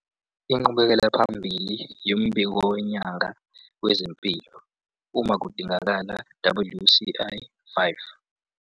Inqubekela phambili yombiko wenyanga wezempilo, uma kudingekile - WCl 5.